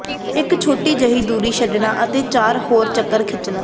ਇੱਕ ਛੋਟੀ ਜਿਹੀ ਦੂਰੀ ਛੱਡਣਾ ਅਤੇ ਚਾਰ ਹੋਰ ਚੱਕਰ ਖਿੱਚਣ